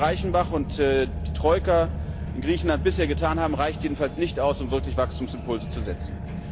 Das, was Herr Reichenbach und die Troika in Griechenland bisher getan haben, reicht jedenfalls nicht aus, um wirklich Wachstumsimpulse zu setzen.